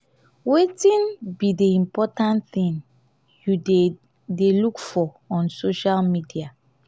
wetin be di important thing you dey dey look for on social media?